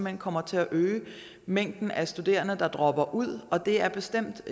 hen kommer til at øge mængden af studerende der dropper ud og det er bestemt